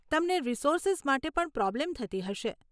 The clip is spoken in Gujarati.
તમને રિસોર્સીઝ માટે પણ પ્રોબ્લેમ થતી હશે.